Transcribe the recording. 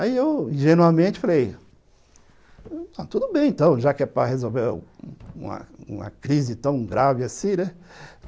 Aí eu, ingenuamente, falei... Tudo bem, então, já que é para resolver uma uma crise tão grave assim, né?